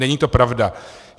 Není to pravda.